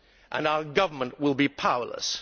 and our government will be powerless.